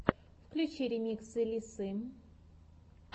включи ремиксы лиссы